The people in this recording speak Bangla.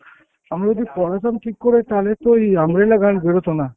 আমরা যদি পড়াতাম ঠিক করে তাহলে তো এই umbrella গান বেরোতো না।